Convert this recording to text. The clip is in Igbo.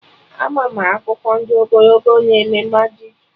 Ama m akụkọ ndị ogologo na eme majik